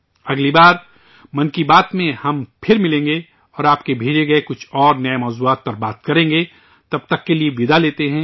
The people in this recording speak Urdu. اگلی بار 'من کی بات' میں ہم پھر ملیں گے اور آپ کے بھیجے ہوئے کچھ اور نئے موضوعات پر بات کریں گے تب تک کے لیے وداع لیتے ہیں